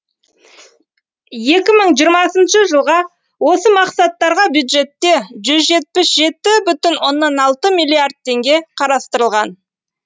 екі мың жиырмасыншы жылға осы мақсаттарға бюджетте жүз жетпіс жеті бүтін оннан алты миллиард теңге қарастырылған